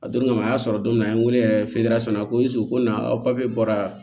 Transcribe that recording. A don kama a y'a sɔrɔ don min na an ye wele yɛrɛ feere sɔn a ko ko na papiye bɔra